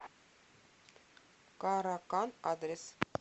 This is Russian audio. каракан адрес